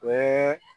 O ye